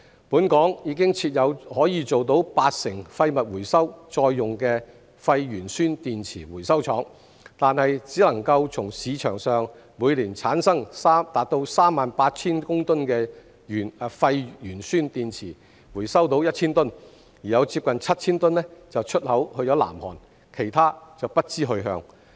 本港已設有可做到八成廢物回收再用的廢鉛酸電池回收廠，但只能從市場上每年產生達 38,000 公噸的廢鉛酸電池中回收到 1,000 公噸，另有接近 7,000 公噸出口至南韓，其他則不知去向。